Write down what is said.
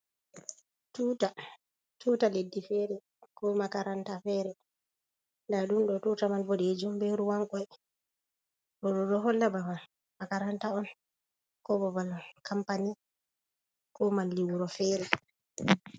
Tuuta leddi feere ko makaranta feere, ndaa ɗum ɗo tuuta man, boɗeejum be ruwan koy. Ɗoɗo ɗo holla babal makaranta on ,ko babal kampani, ko malli wuro feere.